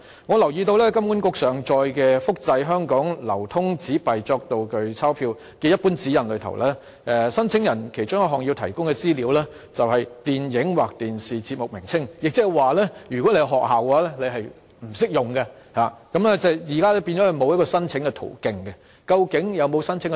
我留意到金管局上載的"複製香港流通紙幣作道具鈔票"列明，申請人要提供的其中一項資料是"電影或電視節目名稱"，亦即是說，不適用於學校，即現在學校沒有申請途徑。